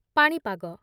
ପାଣିପାଗ